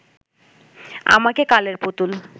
আমাকে কালের পুতুল